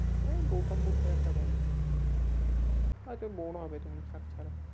আরে ওই গৌতম বুদ্ধের একটা গল্প হয়তো bore হবে তুমি থাক ছাড়ো